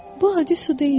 Bu adi su deyildi.